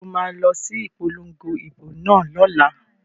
So ma lọ sí ìpolongo ìbò náà lọ́la?